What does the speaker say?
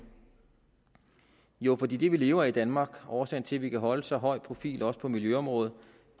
jo fordi det vi lever af i danmark årsagen til at vi kan holde en så høj profil også på miljøområdet